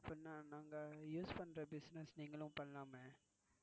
அப்படினா நாங்க use பண்ற Business நீங்களும் பண்ணலாமே?